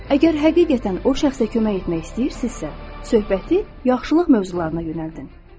Əgər həqiqətən o şəxsə kömək etmək istəyirsinizsə, söhbəti yaxşılıq mövzularına yönəldin.